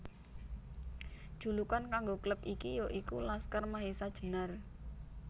Julukan kanggo klub iki ya iku Laskar Mahesa Jenar